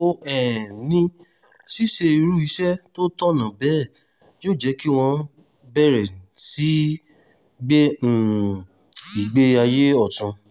ó um ní ṣíṣe irú iṣẹ́ tó tọ̀nà bẹ́ẹ̀ yóò jẹ́ kí wọ́n bẹ̀rẹ̀ sí í gbé um ìgbé ayé ọ̀tún